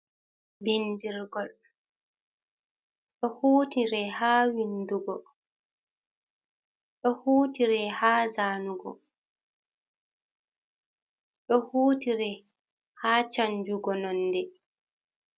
Bindirgol do hutire ha windugo, do hutire ha zanugo ,do hutire ha chanjugo nonɗe .